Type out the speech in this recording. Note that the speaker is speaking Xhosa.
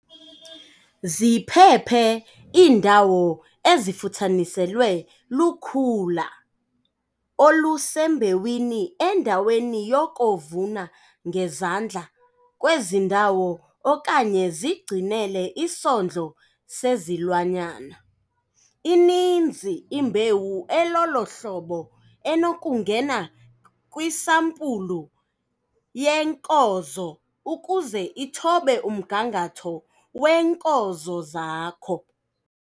Ziphephe iindawo ezifuthaniselwe lukhula olusembewini endaweni yoko vuna ngezandla kwezi ndawo okanye zigcinele isondlo sezilwanyana. Ininzi imbewu elolo hlobo enokungena kwisampulu yeenkozo ukuze ithobe umgangatho weenkozo zakho.